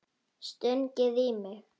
Stungið í mig?